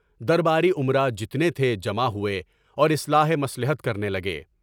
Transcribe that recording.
درباری امراء جتنے تھے جمع ہوئے اور اصلاحِ مصلحت کرنے لگے۔